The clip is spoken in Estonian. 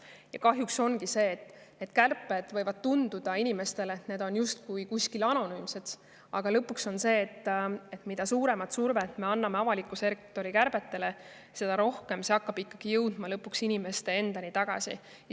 Ja kahjuks ongi nii, et inimestele võib tunduda, et kärped on justkui kuskil eemal anonüümsed, aga lõpuks, mida suuremat survet me avaldame avaliku sektori kärbetele, seda rohkem see jõuab lõpuks inimesteni.